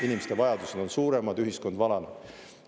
Inimeste vajadused on suuremad, ühiskond vananeb.